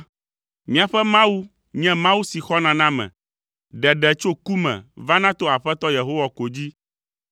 Míaƒe Mawu nye Mawu si xɔna na ame; ɖeɖe tso ku me vana to Aƒetɔ Yehowa ko dzi.